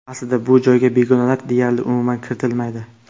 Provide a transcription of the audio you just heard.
Aslida bu joyga begonalar deyarli umuman kiritilmaydi.